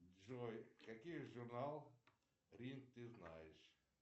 джой какие журнал рин ты знаешь